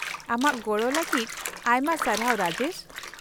-ᱟᱢᱟᱜ ᱜᱚᱲᱚ ᱞᱟᱹᱜᱤᱫ ᱟᱭᱢᱟ ᱥᱟᱨᱟᱦᱣ, ᱨᱟᱡᱮᱥ ᱾